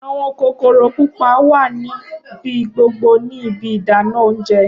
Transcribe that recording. Awọn kokoro pupa wa nibi gbogbo ni ibi ìdáná oúnjẹ.